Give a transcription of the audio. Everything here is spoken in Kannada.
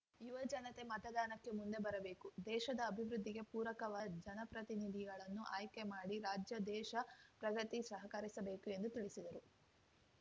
ಯುವ ಜನತೆ ಮತದಾನಕ್ಕೆ ಮುಂದೆ ಬರಬೇಕು ದೇಶದ ಅಭಿವೃದ್ದಿಗೆ ಪೂರಕವಾದ ಜನಪ್ರತಿನಿಧಿಗಳನ್ನು ಆಯ್ಕೆ ಮಾಡಿ ರಾಜ್ಯ ದೇಶ ಪ್ರಗತಿಗೆ ಸಹಕರಿಸಬೇಕು ಎಂದು ತಿಳಿಸಿದರು